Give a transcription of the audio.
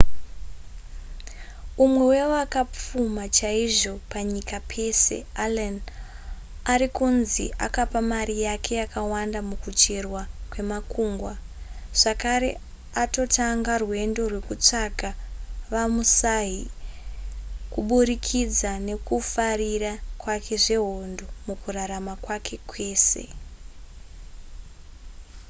umwe wevakapfuma chaizvo panyika pese allen ari kunzi akapa mari yake yakawanda mukucherwa kwemakungwa zvakare atotanga rwendo rwekutsvaga vamusahi kuburikidza nekufarira kwake zvehondo mukurarama kwake kwese